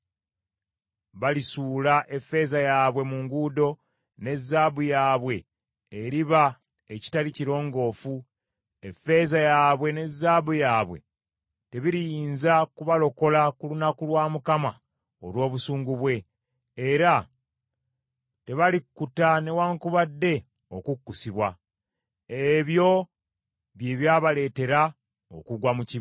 “ ‘Balisuula effeeza yaabwe mu nguudo, ne zaabu yaabwe eriba ekitali kirongoofu; effeeza yaabwe ne zaabu yaabwe tebiriyinza kubalokola ku lunaku lwa Mukama olw’obusungu bwe. Era tebalikkuta newaakubadde okukkusibwa. Ebyo bye byabaleetera okugwa mu kibi.